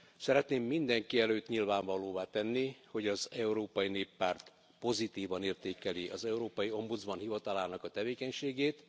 Szeretném mindenki előtt nyilvánvalóvá tenni, hogy az Európai Néppárt pozitívan értékeli az európai ombudsman hivatalának a tevékenységét.